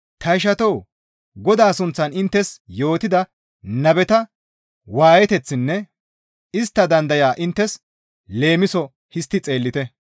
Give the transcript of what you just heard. Ta ishatoo! Godaa sunththan inttes yootida nabeta waayeteththinne istta dandayaa inttes leemiso histti xeellite.